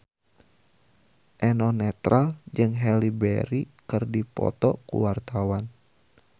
Eno Netral jeung Halle Berry keur dipoto ku wartawan